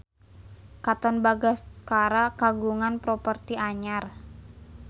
Katon Bagaskara kagungan properti anyar